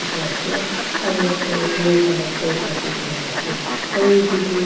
ase aro yete blue colour bag raki kina ase aro etu tho.